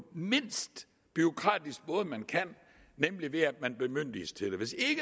mindst bureaukratiske måde man kan nemlig ved at man bemyndiges til det hvis ikke